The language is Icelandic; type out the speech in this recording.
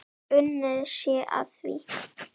Unnið sé að því.